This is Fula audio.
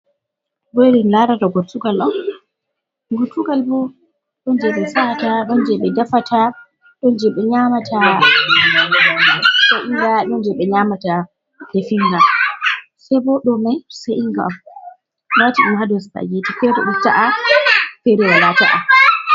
Ɗobo en larata gottugal on. gortugal bo donje be sa'iinga, don je be defata. Ɗon je be nyamata sa'iinga don je be nyamata defiga. Sei bo ɗomai sa'iinga on lati dum ha dau supageeti fere ɗo ta’a fere wala ta’a.